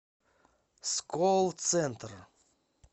сколцентр